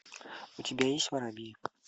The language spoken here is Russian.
у тебя есть воробьи